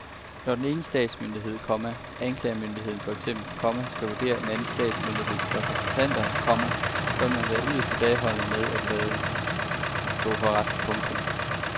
Når den ene statsmyndighed, komma anklagemyndigheden for eksempel, komma skal vurdere en anden statsmyndigheds repræsentanter, komma bør man være yderst tilbageholdende med at lade nåde gå for ret. punktum